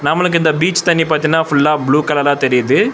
நம்ளுக்கு இந்த பீச் தண்ணி பாத்தீன்னா ஃபுல்லா ப்ளூ கலலா தெரியிது.